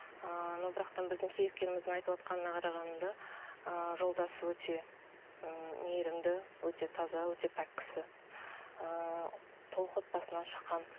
ыыы но бірақтан біздің кейіпкеріміздің айтып отырғанына қарағанда ыыы жолдасы өте ммм мейірімді өте таза өте пәк кісі ііі толық отбасынан шыққан